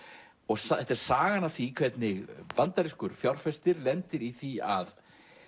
þetta er sagan af því hvernig bandarískur fjárfestir lendir í því að